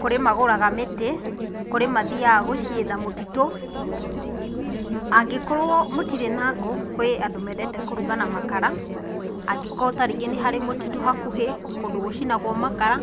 kũrĩ magũraga mĩtĩ, kũrĩ mathiaga gũcietha mũtitũ, angĩkorwo mũtirĩ na ngũ kwĩ andũ mendete kũruga na makara angĩkorwo tarĩngĩ nĩharĩ mũtitũ hakũhĩ, kũndũ gũcinagwo makara